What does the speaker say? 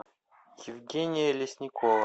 евгения лесникова